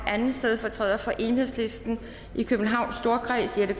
at anden stedfortræder for enhedslisten i københavns storkreds jette